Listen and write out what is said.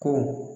Ko